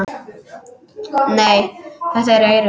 Nei, þetta eru eyrun.